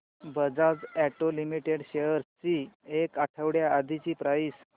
Bajaj auto limited shares ची एक आठवड्या आधीची प्राइस